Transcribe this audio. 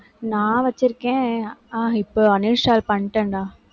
நான் வச்சிருக்கேன். ஆஹ் இப்ப uninstall பண்ணிட்டேன்டா